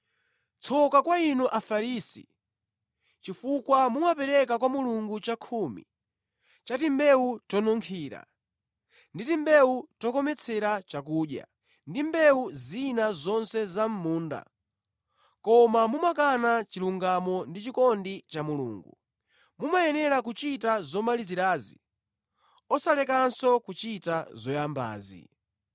“Tsoka kwa inu Afarisi, chifukwa mumapereka kwa Mulungu chakhumi cha timbewu tonunkhira, ndi timbewu tokometsera chakudya ndi mbewu zina zonse za mʼmunda, koma mumakana chilungamo ndi chikondi cha Mulungu. Mumayenera kuchita zomalizirazi osalekanso kuchita zoyambazi.